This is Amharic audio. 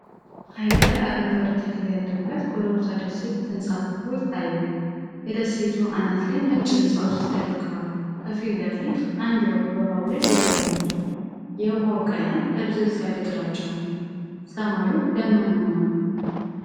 ሐይቅ ላይ አረንጓዴ ተክል ያለበት ኮረብታ ደሴት ተንሳፍፎ ይታያል። የደሴቱ አናት ላይ ነጭ ሕንፃዎች ተደብቀዋል። ከፊት ለፊት፣ አንድ ወፍ በውሃው ላይ እየበረረች ነው። የውሃው ቀለም ደብዘዝ ያለ ግራጫ ነው። ሰማዩ ደመናማ ነው።